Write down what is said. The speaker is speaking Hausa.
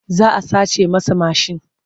Za a sace masa mashin.